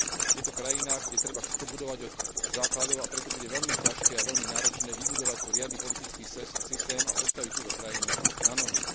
Je to krajina, kde treba všetko budovať od základov, a preto bude veľmi ťažké a veľmi náročné vybudovať tu riadny politický systém a postaviť túto krajinu na nohy.